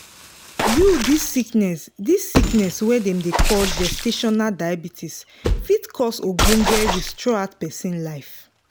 you this sickness this sickness wey dem dey call gestational diabetes fit cause ogboge risk throughout persin life